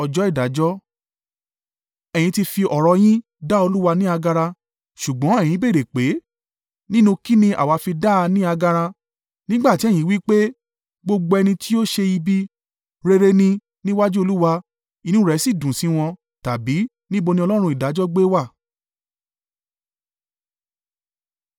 Ẹ̀yin ti fi ọ̀rọ̀ yín dá Olúwa ní agara. Ṣùgbọ́n ẹ̀yin béèrè pé, “Nínú kín ni àwa fi dá a ní agara?” Nígbà tí ẹ̀yìn wí pé, “Gbogbo ẹni tí ó ṣe ibi, rere ni níwájú Olúwa, inú rẹ̀ sì dùn sí wọn,” tàbí “Níbo ni Ọlọ́run ìdájọ́ gbé wà?”